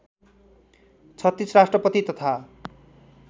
३६ राष्ट्रपति तथा